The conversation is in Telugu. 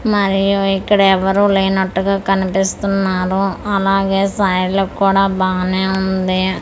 మరియు ఇక్కడ ఎవరూ లేనట్టుగా కనిపిస్తున్నారు అలాగే సైడ్లక్కూడా బానేవుంది.